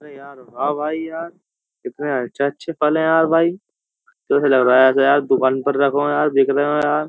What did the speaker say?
हां भाई यार कितने अच्छे अच्छे फल है यार भाई लग रहा है ऐसा यार दुकान पर रखो यार बिक रहे हो यार --